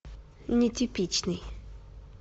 нетипичный